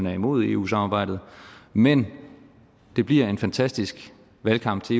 er imod eu samarbejdet men det bliver en fantastisk valgkamp til